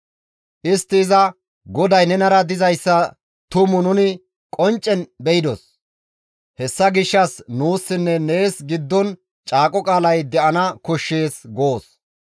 Istti iza, «GODAY nenara dizayssa tumu nuni qonccen be7idos; hessa gishshas nuussinne nees giddon caaqo qaalay de7ana koshshees goos.